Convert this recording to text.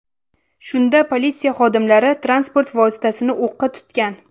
Shunda politsiya xodimlari transport vositasini o‘qqa tutgan.